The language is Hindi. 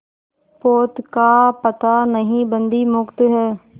पोत का पता नहीं बंदी मुक्त हैं